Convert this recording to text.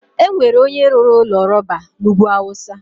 enwere onye rụrụ ụlọ rọba na ugwu awụsa.